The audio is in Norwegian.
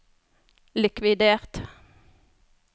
likvidert